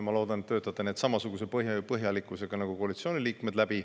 Ma loodan, et te töötate need läbi samasuguse põhjalikkusega nagu koalitsiooni liikmed.